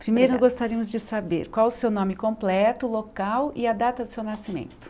Primeiro, gostaríamos de saber qual o seu nome completo, local e a data de seu nascimento.